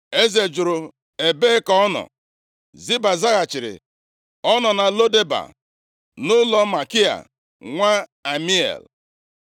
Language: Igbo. Eze jụrụ, “Ebee ka ọ nọ?” Ziba zaghachiri, “Ọ nọ na Lo Deba, nʼụlọ Makia, nwa Amiel.”